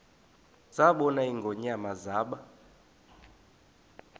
zabona ingonyama zaba